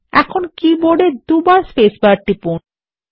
এখন কীবোর্ড এ দুইবার স্পেসবার টিপুন